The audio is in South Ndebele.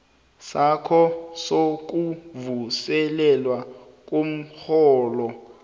sakho sokuvuselelwa komrholo